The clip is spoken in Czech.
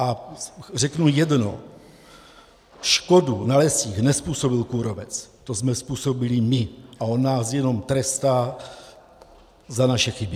A řeknu jedno: škodu na lesích nezpůsobil kůrovec, to jsme způsobili my a on nás jenom trestá za naše chyby.